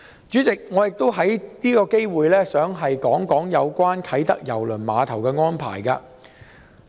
主席，我亦想藉此機會談談有關啟德郵輪碼頭的安排。